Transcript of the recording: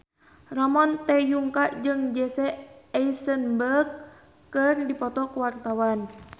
Ramon T. Yungka jeung Jesse Eisenberg keur dipoto ku wartawan